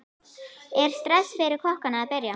Er stress fyrir kokkana að byrja?